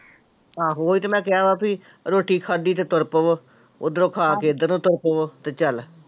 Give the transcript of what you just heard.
ਆਹੋ ਉਹੀ ਤੇ ਮੈਂ ਕਿਹਾ ਵਾ ਬਈ ਰੋਟੀ ਖਾਧੀ ਤੇ ਤੁਰ ਪਵੋ, ਉੱਧਰੋਂ ਖਾ ਕੇ ਇੱਧਰ ਨੂੰ ਤੁਰ ਪਵੋ ਤੇ ਚੱਲ।